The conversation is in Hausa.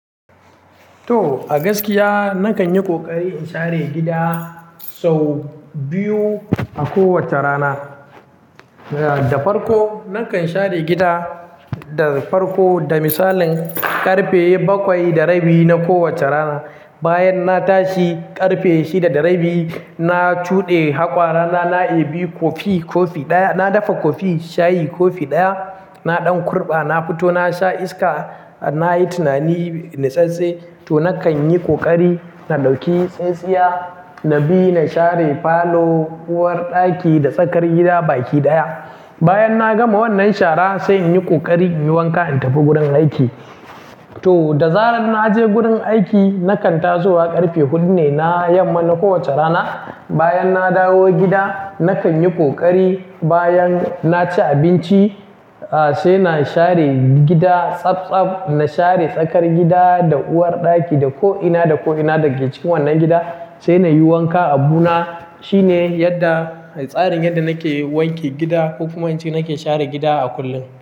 To a gaskiya na kan yi ƙoƙari in share gida sau biyu a kowace rana. Da farko, na kan share gida da farko da misalin ƙarfe bakwai da rabi na kowace rana. Bayan na tashi ƙarfe shida da rabi, na tuɗe haƙora na, na yi bi kofi, kofi ɗaya. Na dafa kofi shayi, kofi ɗaya. Na ɗan kurɓa, na fito na sha iska. Na yi tunani na santsi, to na kan yi ƙoƙari na ɗauki tsintsiya, na bi na share falo, uwarɗaki da tsakar gida baki ɗaya. Bayan na gama wannan shara sai in yi ƙoƙari in yi wanka in tafi gurin aiki. To da zaran na je gurin aiki na kan taso wa ƙarfe hudu ne na yamma na kowace rana. Bayan na dawo gida na kan yi ƙoƙari bayan na ci abinci sai na share gida tsabtsab. Na share tsakar gida da uwarɗaki da ko'ina, da ko'ina da ke cikin wannan gida sai na yi wanka. Abu na shine yadda, tsarin yadda na ke wanke gida ko kuma in ce na ke share gida a kullum.